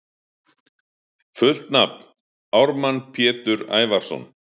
Fullt nafn: Ármann Pétur Ævarsson